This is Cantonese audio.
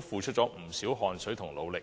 付出了不少汗水和努力的體育行政人員。